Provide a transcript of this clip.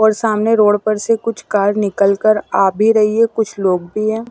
और सामने रोड पर से कुछ कार निकलकर आ भी रहीं हैं कुछ लोग भी हैं।